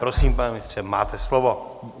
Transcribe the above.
Prosím, pane ministře, máte slovo.